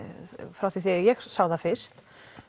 frá því þegar ég sá það fyrst